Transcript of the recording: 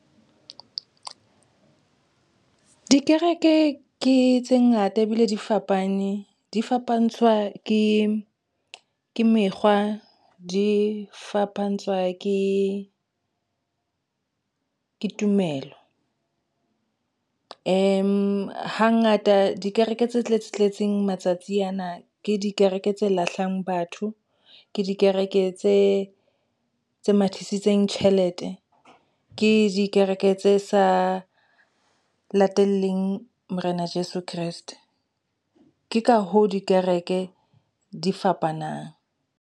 Dikereke ke tse ngata ebile di fapane di fapantshwa ke mekgwa di fapantshwa ke tumelo. Hangata dikereke tse tletseng matsatsi ana ke dikereke tse lahlang batho, ke dikereke tse mathisitseng tjhelete ke dikereke tse sa lateleng Morena Jeso Kreste. Ke ka hoo dikereke di fapanang.